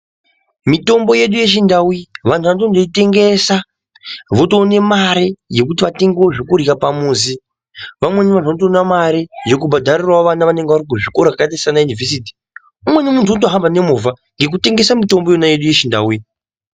Mitombo yedu yechindau vantu vanotoitengesa votoone mari yekuti vatengewo zvekurya pamuzi. Vamweni vantu vanotoonawo mari yekubhadharira vana kuzvikora zvakaita sanayunivhesiti. Umweni muntu unotohamba nemovha ngekutengesa mitombo iyona yedu yechindau iyi.